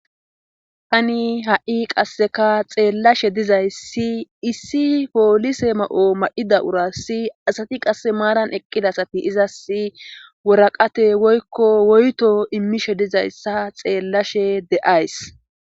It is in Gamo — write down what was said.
tani ha7i qasseka xeellashe dizayssi issi poolise ma7o ma7ida urassi asati qasse maaran eqqidasati izas woraqate woykko woyto immishe dizayssa xeellashe de'ays